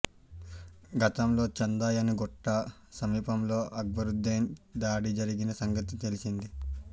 గతంలో చందాయణగుట్ట సమీపంలో అక్బరుద్దీన్పై దాడి జరిగిన సంగతి తెలిసిందే